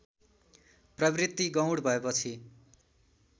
प्रवृत्ति गौण भएपछि